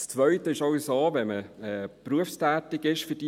Zweitens ist es, wenn man für diese Firma berufstätig ist, auch so: